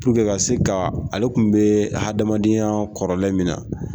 Purke ka se ka ale tun bɛ hadamadenya kɔrɔlen min na